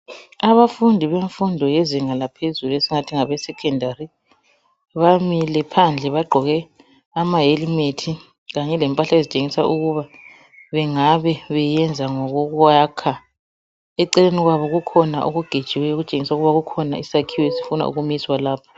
Abafundi bemfundo yezinga laphezulu esingathi ngabesecondary bamile phandle bagqoke ama helmet kanye lempahla ezitshengisa ukuba bengabe beyenza ngokokuyakha eceleni kwabo kukhona okugejiweyo okutshengisa ukuba kukhona isakhiwo esifuna ukumiswa lapho.